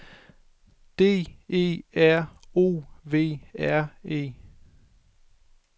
D E R O V R E